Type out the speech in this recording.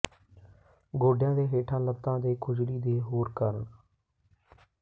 ਗੋਡਿਆਂ ਦੇ ਹੇਠਾਂ ਲੱਤਾਂ ਦੇ ਖੁਜਲੀ ਦੇ ਹੋਰ ਕਾਰਨ